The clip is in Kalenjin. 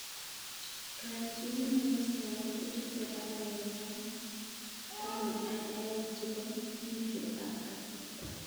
Kayanjinet nebo Sane kochute arawet taman ak aeng chebo mwisho ab kasarta.